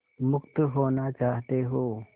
मुक्त होना चाहते हो